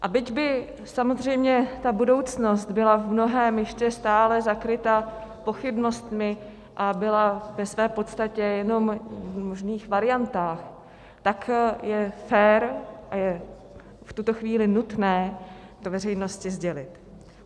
A byť by samozřejmě ta budoucnost byla v mnohém ještě stále zakrytá pochybnostmi a byla ve své podstatě jenom v možných variantách, tak je fér a je v tuto chvíli nutné to veřejnosti sdělit.